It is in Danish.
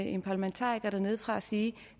en parlamentariker dernedefra sige